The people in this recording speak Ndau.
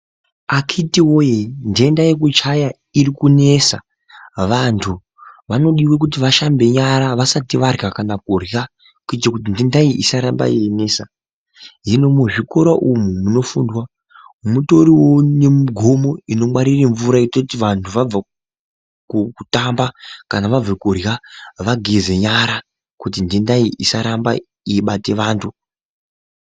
Akiti woye ndenda yekuchaya irikunesa vantu vanodiwe kuti vashambe nyara vasati varya kana kurya kuite kuti ndenda iyi isaramba yeinesa hino muzvikora umo munofundwa mutoriwo nemugomo inongwarire mvura inoite kuti vantu vabva kutamba kana vabva kurya vageze nyara kuti ndenda iyi isaramba ueibate vantu.